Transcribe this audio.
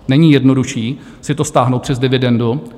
Není jednodušší si to stáhnout přes dividendu?